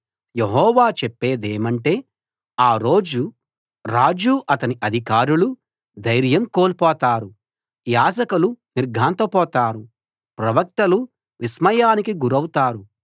యెహోవా చెప్పేదేమంటే ఆ రోజు రాజూ అతని అధికారులూ ధైర్యం కోల్పోతారు యాజకులు నిర్ఘాంతపోతారు ప్రవక్తలు విస్మయానికి గురౌతారు